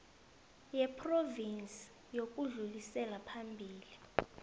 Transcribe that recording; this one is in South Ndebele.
yephrovinsi yokudlulisela phambili